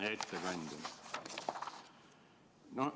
Hea ettekandja!